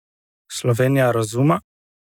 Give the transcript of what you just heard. Slovenija razuma?